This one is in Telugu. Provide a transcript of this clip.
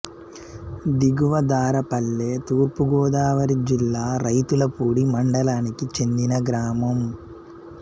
దిగువ దారపల్లె తూర్పు గోదావరి జిల్లా రౌతులపూడి మండలానికి చెందిన గ్రామం